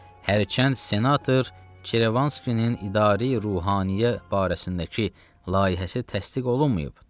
Hərçənd senator Çerevanskinin idari ruhaniyə barəsindəki layihəsi təsdiq olunmayıb.